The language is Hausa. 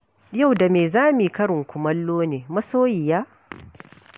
Yau da me za mu yi karin kumallo ne masoyiya?